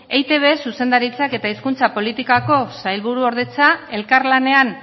eitb zuzendaritzak eta hizkuntza politikako sailburuordetza elkarlanean